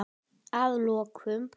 Að lokum